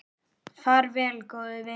Far vel, góði vinur.